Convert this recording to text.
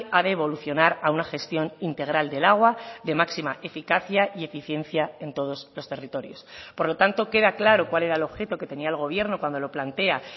ha de evolucionar a una gestión integral del agua de máxima eficacia y eficiencia en todos los territorios por lo tanto queda claro cuál era el objeto que tenía el gobierno cuando lo plantea